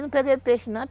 Não peguei peixe, não.